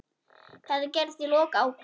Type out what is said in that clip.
Þetta gerðist í lok ágúst.